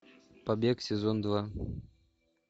побег сезон два